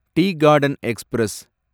tea garden express